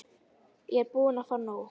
Ég er bara búin að fá nóg.